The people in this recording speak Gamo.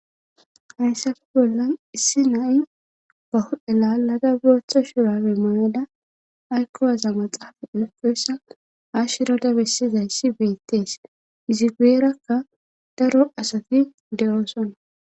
Hayssafe bollan issi nai bah'elalada buratha shurawi mayada aykkowaza maxaafa elfeyssa ashshirada bessizayssi beettees izi gueerakka daro asati de'oosona